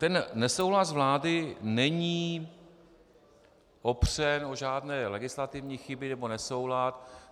Ten nesouhlas vlády není opřen o žádné legislativní chyby nebo nesoulad.